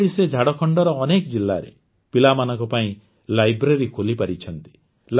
ଏହିଭଳି ସେ ଝାଡ଼ଖଣ୍ଡର ଅନେକ ଜିଲ୍ଲାରେ ପିଲାମାନଙ୍କ ପାଇଁ Libraryଖୋଲିପାରିଛନ୍ତି